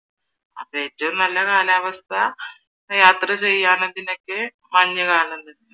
അപ്പൊ ഏറ്റവും നല്ല കാലാവസ്ഥ യാത്രചെയ്യാനും ഇതിനൊക്കെ മഞ്ഞുകാലം തന്നെയാ